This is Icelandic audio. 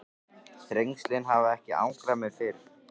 Þrengslin hafa ekki angrað mig fyrr.